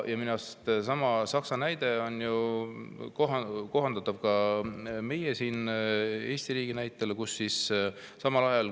Ja minu arust seesama Saksa näide kohaldub ka meile siin Eesti riigis.